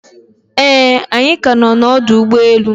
Eeh, anyi ka no na ọdụ ụgbọ enu